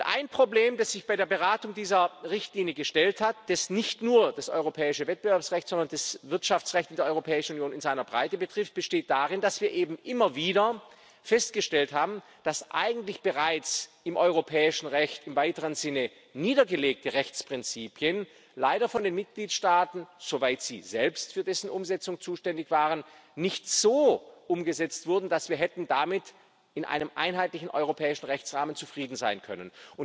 Ein Problem, das sich bei der Beratung dieser Richtlinie gestellt hat, das nicht nur das europäische Wettbewerbsrecht, sondern das Wirtschaftsrecht in der Europäischen Union in seiner Breite betrifft, besteht darin, dass wir eben immer wieder festgestellt haben, dass eigentlich bereits im europäischen Recht im weiteren Sinne niedergelegte Rechtsprinzipien leider von den Mitgliedstaaten, soweit sie selbst für dessen Umsetzung zuständig waren, nicht so umgesetzt wurden, dass wir damit in einem einheitlichen europäischen Rechtsrahmen hätten zufrieden sein können.